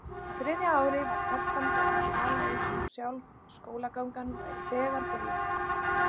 Á þriðja ári var telpan farin að tala eins og sjálf skólagangan væri þegar byrjuð.